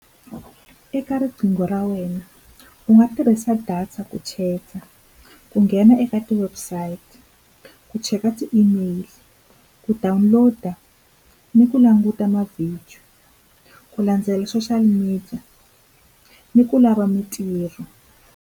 Eka riqingho ra wena u nga tirhisa data ku chat-a, ku nghena eka ti-website, ku cheka ti-email, ku download-a ni ku languta mavhidiyo. Ku landzela social media, ni ku lava mintirho.